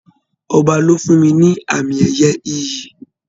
Ọba ló fún ní àmì ẹyẹ ìyí.